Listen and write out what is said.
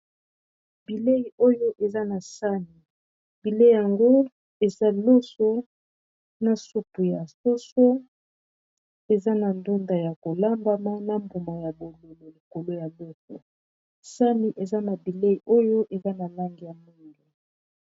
Bileyi oyo eza na sani. Bileyi yango eza loso na supu ya soso eza na ndunda ya kolamba na mbuma ya bololo likolo ya be sani eza na bileyi oyo eza na langi ya mwindu.